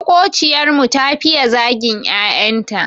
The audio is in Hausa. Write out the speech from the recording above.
Maƙociyar mu ta fiye zagin 'ya'yan ta.